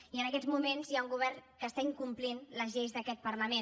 i en aquests moments hi ha un govern que està incomplint les lleis d’aquest parlament